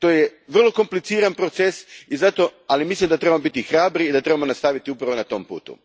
To je vrlo kompliciran proces, ali mislim da trebamo biti hrabri i da trebamo nastaviti upravo na tom putu.